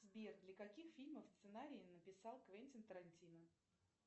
сбер для каких фильмов сценарий написал квентин тарантино